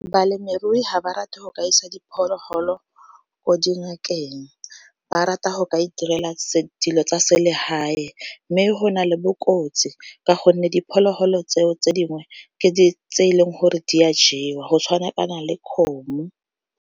Balemirui ga ba rata go ka isa diphologolo ko dingakeng ba rata go ka iterela dilo tsa se le hae, mme go na le bokotsi ka gonne diphologolo tseo tse dingwe ke tse e leng gore di a jewa go tshwana kana le kgomo.